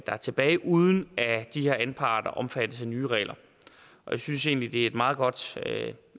er tilbage uden at de her anparter omfattes af nye regler jeg synes egentlig at det er et meget godt